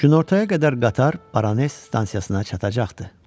Günortaya qədər qatar Baranes stansiyasına çatacaqdı.